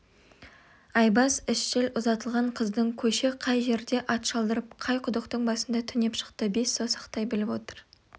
айбас ізшіл ұзатылған қыздың көші қай жерде ат шалдырып қай құдықтың басында түнеп шықты бес саусақтай біліп отыр